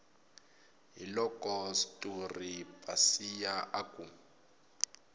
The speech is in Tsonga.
hiloko sturu pasiya a ku